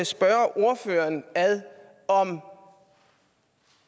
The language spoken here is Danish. spørge ordføreren om